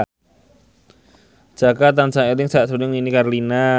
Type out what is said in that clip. Jaka tansah eling sakjroning Nini Carlina